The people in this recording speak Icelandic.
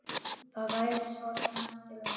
Það væri svo sem eftir honum.